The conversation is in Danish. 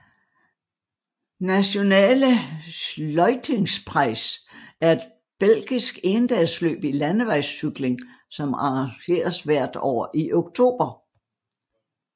Nationale Sluitingsprijs er et belgisk endagsløb i landevejscykling som arrangeres hvert år i oktober